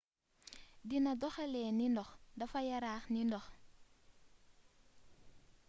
dina doxalee ne ndox dafa yaraax ne ndox